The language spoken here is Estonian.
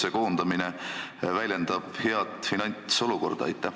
Kas koondamine väljendab head finantsolukorda?